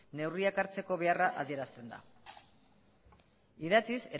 neurriak hartzeko beharra adierazten da idatziz